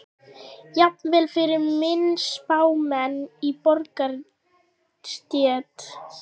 Jafnvel fyrir minni spámenn í borgarastétt.